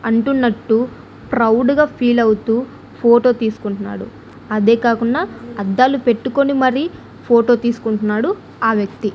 అంటున్నట్టు proud గా feel అవుతూ photo తీసుకుంటున్నాడు అదే కాకుండా అద్దాలు పెట్టుకొని మరీ ఫోటో తీసుకుంటున్నాడు ఆ వ్యక్తి.